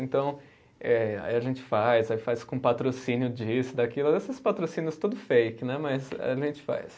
Então, eh aí a gente faz, aí faz com patrocínio disso, daquilo, esses patrocínios tudo fake, né, mas a gente faz.